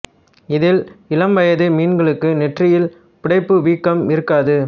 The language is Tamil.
இதில் இளம் வயது மீன்களுக்கு நெற்றியில் புடைப்பு வீக்கம் இருக்காது